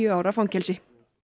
ára fangelsi